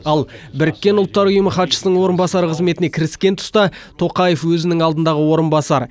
ал біріккен ұлттар ұйымы хатшысының орынбасары қызметіне кіріскен тұста тоқаев өзінің алдындағы орынбасар